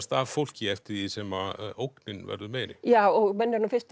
af fólki eftir því sem að ógnin verður meiri og menn eru nú fyrst